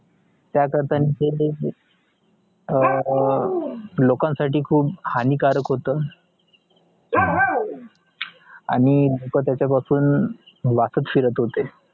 त्या करत्या ते हा लोकांना साठी खुप हानीकारक होत आणी लोक त्याचा पासुन वाखात फिरत होतो